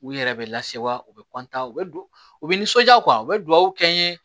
U yɛrɛ bɛ lase wa u bɛ u bɛ u bɛ nisɔnja u bɛ duwawu kɛ n ye